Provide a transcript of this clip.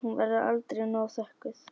Hún verður aldrei nóg þökkuð.